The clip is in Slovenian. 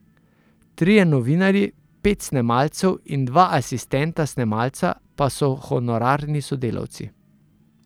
Trije novinarji, pet snemalcev in dva asistenta snemalca pa so honorarni sodelavci.